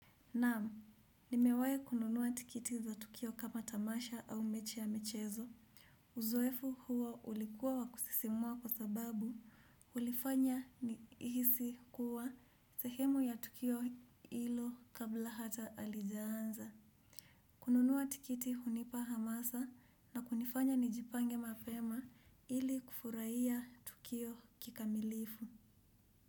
Naam, nimewahi kununua tikiti za Tukio kama tamasha au mechi ya michezo. Uzoefu huo ulikuwa wakusisimua kwa sababu, ulifanya ni hisi kuwa sehemu ya tukio ilo kabla hata halijaanza. Kununua tikiti hunipa hamasa na kunifanya nijipange mapema ili kufurahia Tukio kikamilifu.